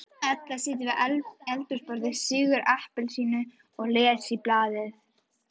Edda situr við eldhúsborðið, sýgur appelsínu og les í blaði.